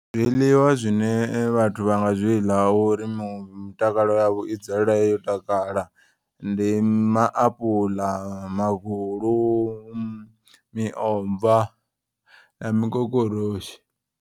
Zwiḽiwa zwine vhathu vha nga zwiḽa uri mitakalo yavho i dzule yo takala. Ndi maapuḽa, magulu, miomva na mikokoroshi.